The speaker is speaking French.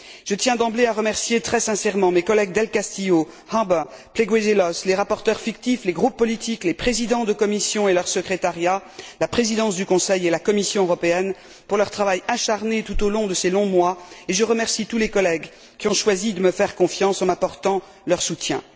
Je tiens d'emblée à remercier très sincèrement mes collègues del Castillo, Harbour, Pleguezuelos, les rapporteurs fictifs, les groupes politiques, les présidents de commissions et leurs secrétariats, la présidence du Conseil et la Commission européenne pour leur travail acharné au cours de ces longs mois, et je remercie tous les collègues qui ont choisi de me faire confiance en m'apportant leur soutien.